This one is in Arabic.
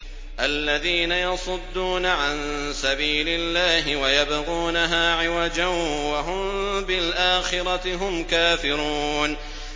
الَّذِينَ يَصُدُّونَ عَن سَبِيلِ اللَّهِ وَيَبْغُونَهَا عِوَجًا وَهُم بِالْآخِرَةِ هُمْ كَافِرُونَ